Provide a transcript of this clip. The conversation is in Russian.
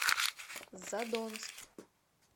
задонск